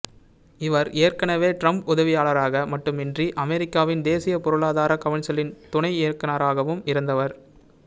இவர் ஏற்கனவே டிரம்ப் உதவியாளராக மட்டுமின்றி அமெரிக்காவின் தேசிய பொருளாதார கவுன்சிலின் துணை இயக்குநராகவும் இருந்தவர்